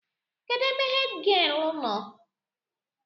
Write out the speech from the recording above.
Kedụ ebe hèdgịelu nọ?